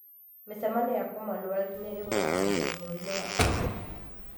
Mĩcemanio ya Commonwealth nĩĩgũtabanio bũrũri-inĩ wa ũganda